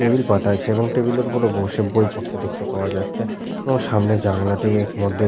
table পাতা আছে এবং টেবিল এর ওপরে বসে বই পড়তে দেখতে পাওয়া যাচ্ছে এবং সামনে জানালাটি এর মধ্যে--